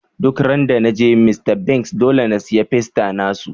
Duk ran da na je Mr.Biggs, dolle n'siya fiesta na su.